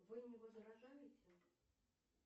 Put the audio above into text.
вы не возражаете